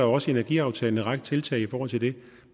også i energiaftalen en række tiltag i forhold til det